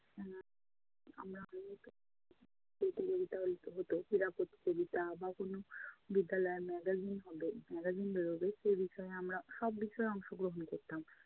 প্রতিযোগিতা আয়োজিত হতো। ক্রীড়া প্রতিযোগিতা বা কোনো বিদ্যালয়ে magazine হবে magazine বেড়োবে, সেই বিষয়ে আমরা সব বিষয়ে অংশগ্রহণ করতাম